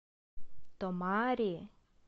томари